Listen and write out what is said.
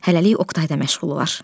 Hələlik Oqtayla məşğul olar.